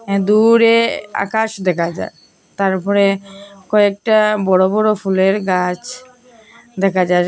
আ দূরে আকাশ দেখা যায় তারপরে কয়েকটা বড় বড় ফুলের গাছ দেখা যায়।